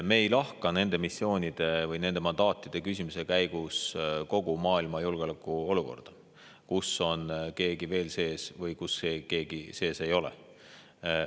Me ei lahka nende missioonide või nende mandaatide küsimisega seoses kogu maailma julgeolekuolukorda, kus keegi on sees või kus keegi sees ei ole.